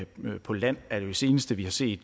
vind på land er jo det seneste vi har set